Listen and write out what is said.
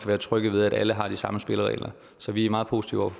være trygge ved at alle har de samme spilleregler så vi er meget positive